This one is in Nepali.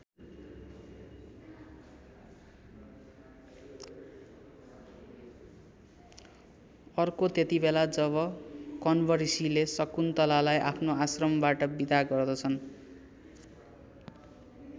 अर्को त्यतिबेला जब कण्व ऋषिले शकुन्तलालाई आफ्नो आश्रमबाट बिदा गर्दछन्।